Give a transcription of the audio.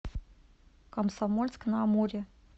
комсомольск на амуре